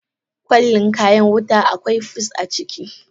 Kwalin kayan wuta a kwai fus a ciki.